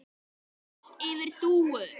Og mest yfir Dúu.